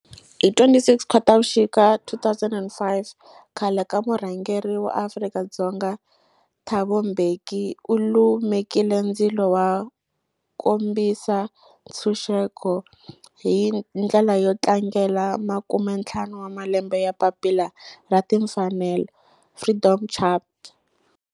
Hi ti 26 Khotavuxika 2005 khale ka murhangeri wa Afrika-Dzonga Thabo Mbeki u lumekile ndzilo wo kombisa ntshuxeko, hi ndlela yo tlangela makumentlhanu wa malembe ya papila ra timfanelo Freedom Charter.